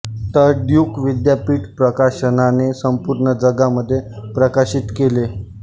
तर ड्युक विद्यापीठ प्रकाशनाने संपूर्ण जगामध्ये प्रकाशित केले